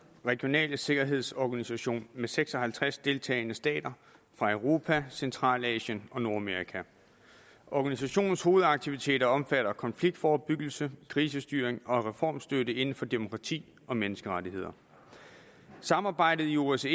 regionale sikkerhedsorganisation med seks og halvtreds deltagende stater fra europa centralasien og nordamerika organisationens hovedaktiviteter omfatter konfliktforebyggelse krisestyring og reformstøtte inden for demokrati og menneskerettigheder samarbejdet i osce